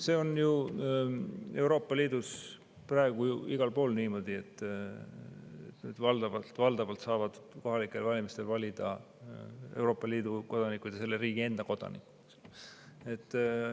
See on ju Euroopa Liidus praegu igal pool niimoodi, et valdavalt saavad kohalikel valimistel valida riigi enda kodanikud ja Euroopa Liidu kodanikud.